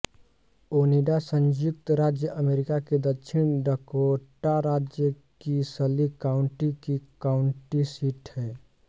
ओनिडा संयुक्त राज्य अमेरिका के दक्षिण डकोटा राज्य की सली काउण्टी की काउण्टी सीट है